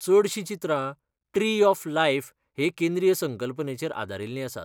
चडशीं चित्रां 'tree of life' हे केंद्रीय संकल्पनेचेर आदारिल्लीं आसात.